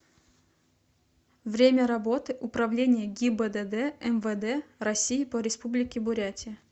время работы управление гибдд мвд россии по республике бурятия